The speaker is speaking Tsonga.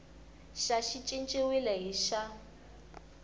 xa xi cinciwile hi xa